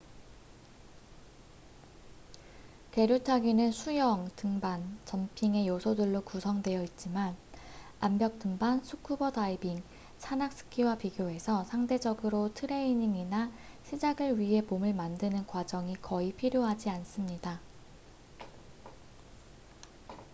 계류 타기는 수영 등반 점핑의 요소들로 구성되어 있지만 암벽 등반 스쿠버 다이빙 산악 스키와 비교해서 상대적으로 트레이닝이나 시작을 위해 몸을 만드는 과정이 거의 필요하지 않습니다